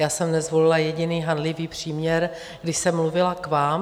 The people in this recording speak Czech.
Já jsem nezvolila jediný hanlivý příměr, když jsem mluvila k vám.